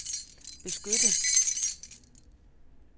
beskytte